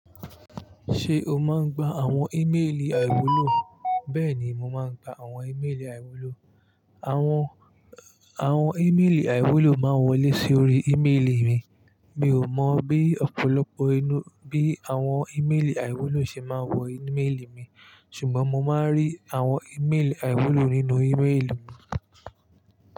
Ṣé o máa ń gba àwọn ímélì àìwúlò? Bẹ́ẹ̀ni, mo máa ń gba àwọn ímélì àìwúlò. Àwọn, àwọn ímélì àìwúlò máa ń wọlé sórí ímélì mi. Mi ò mọ̀ bí ọ̀pọ̀lọpọ̀ ẹnu, bí àwọn ímélì àìwúlò ṣe máa ń wọ ímélì mi, ṣùgbọ́n mo máa ń rí àwọn ímélì àìwúlò nínú ímélì mi.